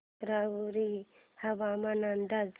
राहुरी हवामान अंदाज